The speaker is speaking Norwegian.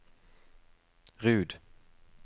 Rud